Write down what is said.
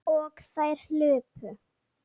Og þær hlupu.